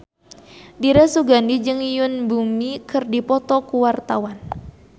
Dira Sugandi jeung Yoon Bomi keur dipoto ku wartawan